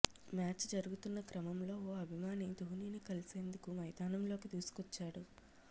match జరుగుతున్న క్రమంలో ఓ అభిమాని ధోనిని కలిసేందుకు మైదానంలోకి దూసుకొచ్చాడు